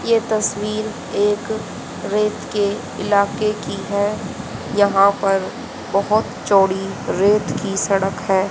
ये तस्वीर एक रेत के इलाके की है यहां पर बहोत चौड़ी रेत की सड़क है।